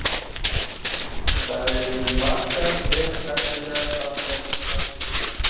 Það eru margar mjög efnilegar Fallegasti knattspyrnumaðurinn?